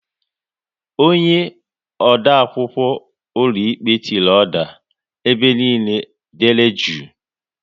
Onye odeakwụkwọ ụlọikpe tiri "oda", ebe niile dere jụụ!